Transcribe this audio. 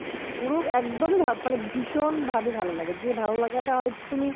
পুরো একদম ভীষণভাবে ভালো লাগে ভালোলাগাটা হয়তো তুমি